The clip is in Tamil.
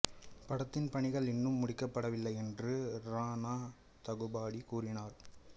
படத்தின் பணிகள் இன்னும் முடிக்கப்படவில்லை என்றும் ராணா தகுபாடி கூறினார்